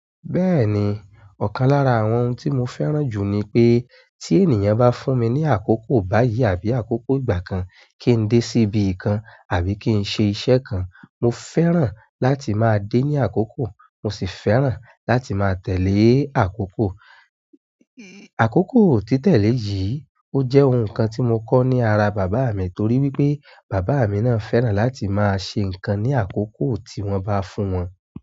Bẹ́ẹ̀ni, ọ̀kan lára àwọn ohun tí mo fẹ́ràn jù ni pé tí ènìyàn bá fún mi ní àkókò báyìí àbí àkókò ìgbà kan kí n dé síbi kan àbí kí n ṣe iṣẹ́ kan, mo fẹ́ràn láti máa dé ní àkókò mo sì fẹ́ràn láti máa tẹ̀lé àkókò. Àkókò títẹ̀lé yìí ó jẹ́ ohun kan tí mo kọ́ ní ara bàbá mi torí wípé bàbá mi náà fẹ́ràn láti máa ṣe nǹkan ní àkókò tí wọ́n bá fún wọn.